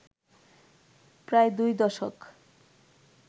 প্রায় দুই দশক